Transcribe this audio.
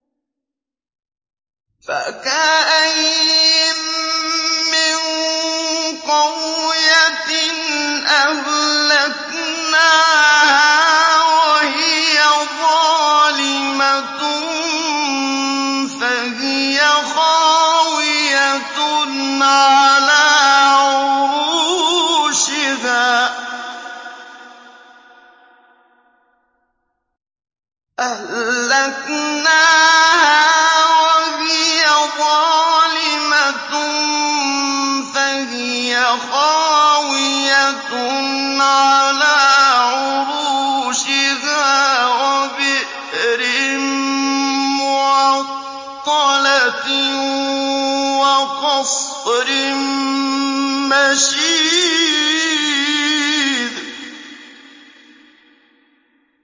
فَكَأَيِّن مِّن قَرْيَةٍ أَهْلَكْنَاهَا وَهِيَ ظَالِمَةٌ فَهِيَ خَاوِيَةٌ عَلَىٰ عُرُوشِهَا وَبِئْرٍ مُّعَطَّلَةٍ وَقَصْرٍ مَّشِيدٍ